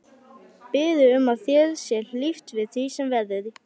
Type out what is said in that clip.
Biður um að þér sé hlíft við því sem verður.